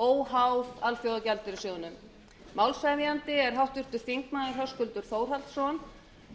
óháð alþjóðagjaldeyrissjóðnum málshefjandi er háttvirtur þingmaður höskuldur þórhallsson